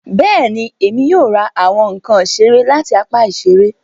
Bẹẹni, Èmi yóò ra awọn nkán isere lati apá iṣere